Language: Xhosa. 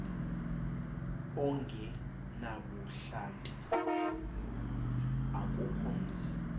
ongenabuhlanti akukho mzi